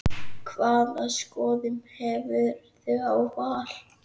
Hvaða skoðun hefurðu á Val?